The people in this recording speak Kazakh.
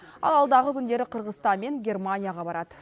ал алдағы күндері қырғызстан мен германияға барады